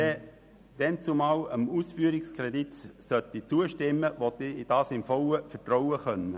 Wenn ich dannzumal dem Ausführungskredit zustimmen soll, möchte ich dies in vollem Vertrauen tun können.